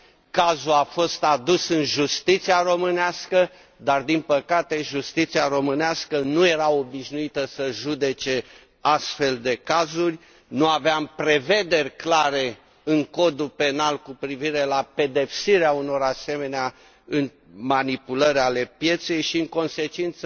Cazul a fost adus în justiția românească, dar, din păcate, justiția românească nu era obișnuită să judece astfel de cazuri, nu avea prevederi clare în Codul penal cu privire la pedepsirea unor asemenea manipulări ale pieței și, în consecință,